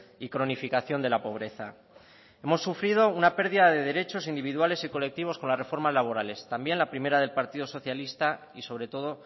y cronificación de la pobreza hemos sufrido una pérdida de derechos individuales y colectivos con las reformas laborales también la primera del partido socialista y sobre todo